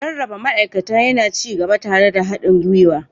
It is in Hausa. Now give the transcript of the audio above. Rarraba ma'aikata yana ci gaba tare da haɗin gwiwa.